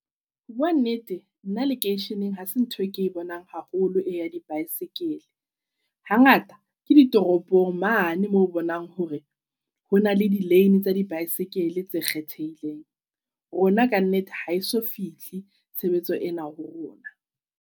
O bua nnete nna lekeisheneng ha se ntho e ke bonang haholo e ya di-bicycle. Hangata ke di toropong mane mo bonang hore ho na le di-lane tsa di-bicycle tse kgethehileng. Rona kannete ha eso fihle tshebetso ena ho rona.